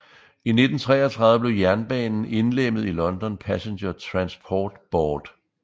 I 1933 blev jernbanen indlemmet i London Passenger Transport Board